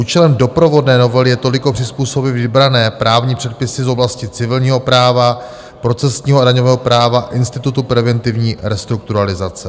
Účelem doprovodné novely je toliko přizpůsobit vybrané právní předpisy z oblasti civilního práva, procesního a daňového práva, institutu preventivní restrukturalizace.